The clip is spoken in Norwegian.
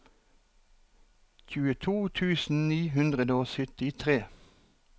tjueto tusen ni hundre og syttitre